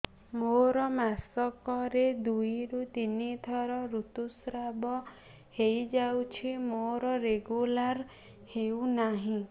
ମୋର ମାସ କ ରେ ଦୁଇ ରୁ ତିନି ଥର ଋତୁଶ୍ରାବ ହେଇଯାଉଛି ମୋର ରେଗୁଲାର ହେଉନାହିଁ